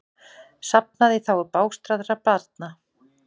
Safnað í þágu bágstaddra barna